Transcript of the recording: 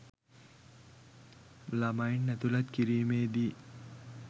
ළමයින් ඇතුළත් කිරීමේදී